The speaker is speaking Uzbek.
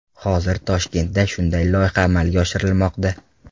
Hozir Toshkentda shunday loyiha amalga oshirilmoqda.